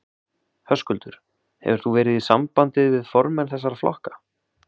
Höskuldur: Hefur þú verið í sambandið við formenn þessara flokka?